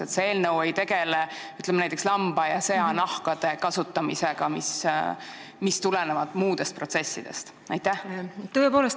Kas see eelnõu ei tegele näiteks lamba- ja seanahkade kasutamisega, mis tulenevad muudest protsessidest?